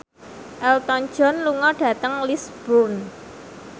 Elton John lunga dhateng Lisburn